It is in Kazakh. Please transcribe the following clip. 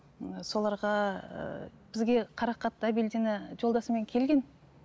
м соларға ііі бізге қарақат әбілдина жолдасымен келген